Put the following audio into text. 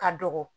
Ka dɔgɔ